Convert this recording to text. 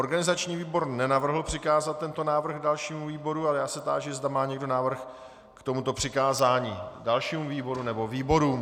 Organizační výbor nenavrhl přikázat tento návrh dalšímu výboru, ale já se táži, zda má někdo návrh k tomuto přikázání dalšímu výboru nebo výborům.